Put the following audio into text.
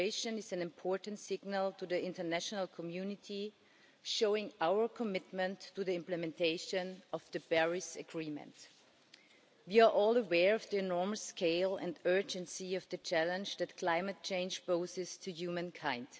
is an important signal to the international community, showing our commitment to the implementation of the Paris Agreement. You are all aware of the enormous scale and urgency of the challenge that climate change poses to humankind.